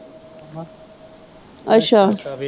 ਅੱਛਾ।